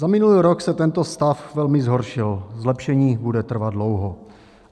Za minulý rok se tento stav velmi zhoršil, zlepšení bude trvat dlouho.